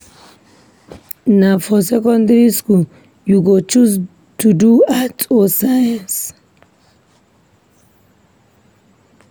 Na for secondary skool you go choose to do Arts or Science.